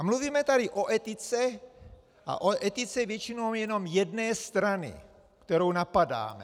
A mluvíme tady o etice, a o etice většinou jenom jedné strany, kterou napadáme.